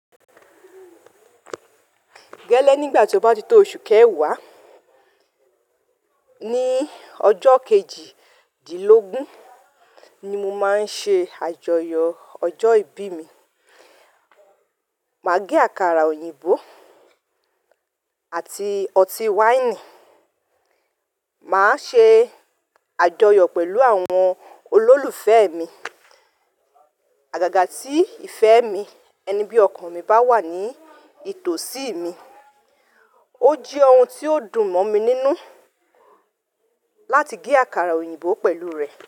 Gẹ́lẹ́ nígbà tí ọ bá ti tó oṣù kẹwàá, ní ọjọ kejìdínlógún ni mo máa n ṣe àjọyọ̀ ọjọ́ ìbí mi. Máa gé àkàrà òyìnbó àti ọtí wáìnì. Máa ṣe àjọyọ̀ pẹ̀lú àwọn olólùfẹ́ mi. Àgàgà tí ìfẹ́ mi, ẹni bí ọkàn mi bá wà ní ìtòsí mi. Ó jẹ́ ohun tí ó dùn mọ́ mi nínú láti gé àkàrà òyìnbó pẹ̀lú rẹ̀